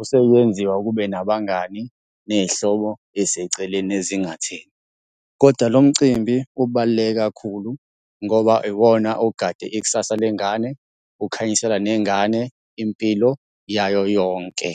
usewenziwa kube nabangani ney'hlobo ey'seceleni ezingatheni, koda lo mcimbi ubaluleke kakhulu ngoba iwona ogade ikusasa lengane, ukhanyisela nengane impilo yayo yonke.